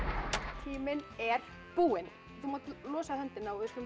tíminn er búinn þú mátt losa höndina og við skulum